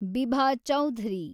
Bibha Chowdhury